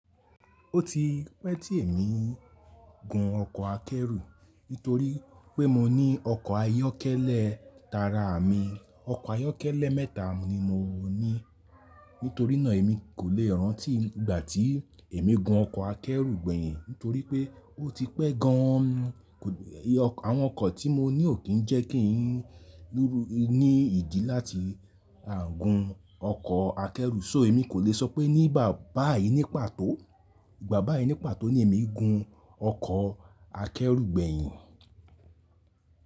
Ó ti pẹ́ tí èmi gun ọkọ̀ akẹ́rù. Nítorí pé mo ní ọkọ̀ ayọ́kẹ́lẹ́ tara mi. Ọkọ̀ ayọ́kẹ́lẹ́ mẹ́ta ni mo ní. Nítorí náà èmi kò le rántí ìgbà tí èmi gun ọkọ̀ akẹ́rù gbẹ̀yìn. Nítorí pé ó ti pẹ́ gan an. Àwọn ọkọ̀ tí mo ní ò kí ń jẹ́ kí n ní ìdí láti gun ọkọ̀ akẹ́rù. So èmi kò le sọ pé nígbà báyìí ní pàtó, ìgbà báyìí ní pàtó ni èmi gun ọkọ̀ akẹ́rù gbẹ̀yìn.